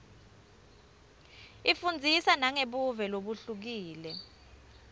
ifundzisa nangebuve lobuhlukile